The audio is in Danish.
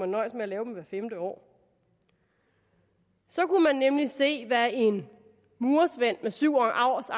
nøjes med at lave dem hvert femte år så kunne man nemlig se hvad en murersvend med syv års